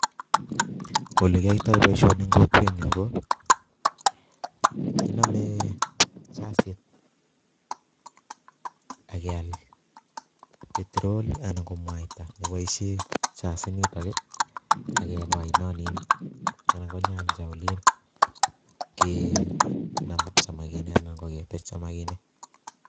Ole kiyoitoi boisioni eng' kokwet nyu, koo kiname chasit akial petrol anan ko mwaita ne boisie chasit nitok, akeba oinonin anan ko nyanja olin, kenam samakinik anan koketech samakinik